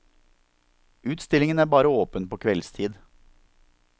Utstillingen er bare åpen på kveldstid.